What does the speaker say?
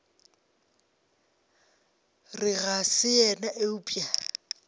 re ga se yena eupša